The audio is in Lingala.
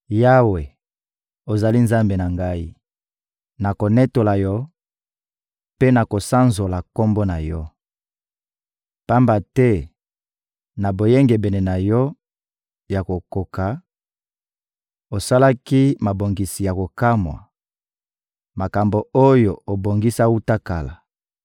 Yawe, ozali Nzambe na ngai; nakonetola Yo mpe nakosanzola Kombo na Yo; pamba te na boyengebene na Yo ya kokoka, osalaki mabongisi ya kokamwa, makambo oyo obongisa wuta kala.